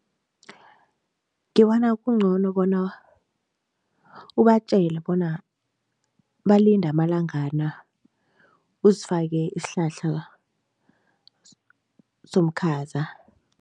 Ngibona kungcono bona ubatjele bona balinde amalangana, uzifake isihlahla somkhaza.